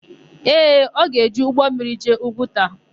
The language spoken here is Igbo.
Ee, ọ ga-eji ụgbọmmiri jee Ugwuta.